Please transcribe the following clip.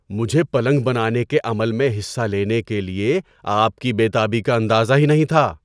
مجھے پلنگ بنانے کے عمل میں حصہ لینے کے لیے آپ کی بے تابی کا اندازہ ہی نہیں تھا۔